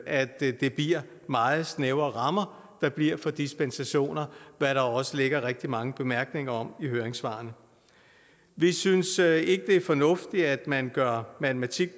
at det bliver meget snævre rammer der bliver for dispensationer hvad der også ligger rigtig mange bemærkninger om i høringssvarene vi synes ikke at det er fornuftigt at man gør matematik